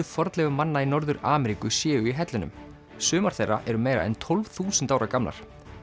fornleifum manna í Norður Ameríku séu í hellunum sumar þeirra eru meira en tólf þúsund ára gamlar